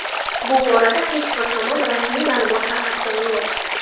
Bu borada hech bir tomon rasmiy ma’lumot tarqatgani yo‘q.